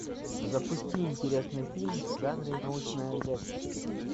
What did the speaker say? запусти интересный фильм в жанре научная лекция